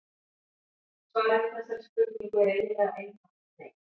Svarið við þessari spurningu er eiginlega einfalt nei.